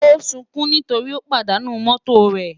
Ó ń sunkún nítorí ó pàdánù mọ́tò rẹ̀